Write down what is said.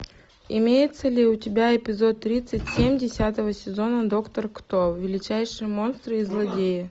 имеется ли у тебя эпизод тридцать семь десятого сезона доктор кто величайшие монстры и злодеи